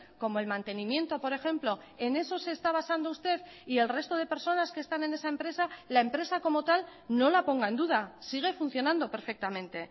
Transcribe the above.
como el mantenimiento por ejemplo en eso se está basando usted y el resto de personas que están en esa empresa la empresa como tal no la ponga en duda sigue funcionando perfectamente